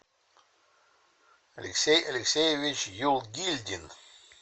алексей алексеевич юлгильдин